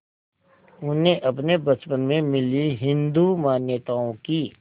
उन्हें अपने बचपन में मिली हिंदू मान्यताओं की